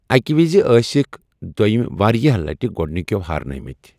اَکہِ وِزِ ٲسِکھ دوٚیمۍ واریٛاہ لَٹہِ گۄڈنِکٮ۪و ہارنٲمٕتۍ۔